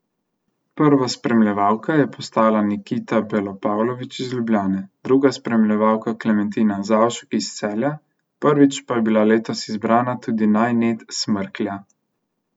Prva spremljevalka je postala Nikita Belopavlovič iz Ljubljane, druga spremljevalka Klementina Zavšek iz Celja, prvič pa je bila letos izbrana tudi naj net smrklja.